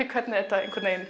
hvernig þetta